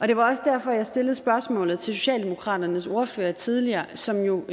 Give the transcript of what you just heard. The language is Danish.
det var også derfor jeg stillede spørgsmålet til socialdemokraternes ordfører tidligere som jo